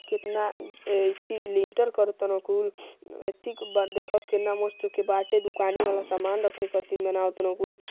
कितना अ येथी लिंटर करतारन कुल येथी क बा देखा कितना मस्त के बाटें दुकानी वाला सामान रखें खातिर बनावतन कुल।